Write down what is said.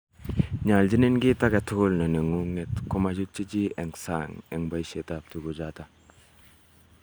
Nyoljinin kit agetugul ne nengunget ii, komachutchi chii en sang en boisietab tuguchoto.